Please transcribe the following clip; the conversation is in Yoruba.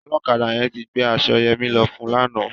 Ọlọ́kadà yẹn ti gbé aṣọ Yẹmí lọ fun lánàá.